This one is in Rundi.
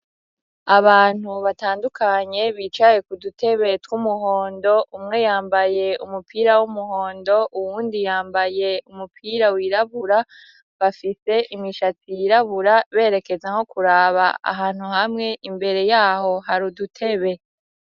Abantu batandukanye bicaye ku dutebe tw'umuhondo ,umwe yambaye umupira w'umuhondo, uwundi yambaye umupira wirabura, bafise imishatsi y'irabura berekeza nko kuraba ahantu hamwe, imbere yaho hari udutebe.